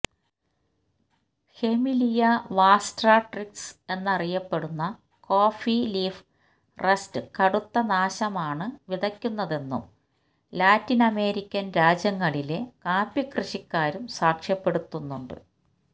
Hemileia vastatrix എന്നറിയപ്പെടുന്ന coffee leaf rust കടുത്ത നാശമാണ് വിതയ്ക്കുന്നതെന്നും ലാറ്റിനമേരിക്കൻ രാജ്യങ്ങളിലെ കാപ്പി കൃഷിക്കാരും സാക്ഷ്യപ്പെടുത്തുന്നുണ്ട്